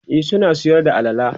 e suna Sayar da alala